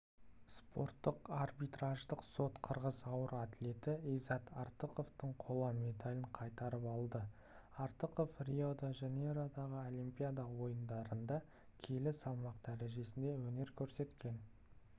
спорттық арбитраждық сот қырғыз ауыр атлеті иззат артықовтың қола медалін қайтарып алды артықов рио-де-жанейродағы олимпиада ойындарында келі салмақ дәрежесінде өнер көрсеткен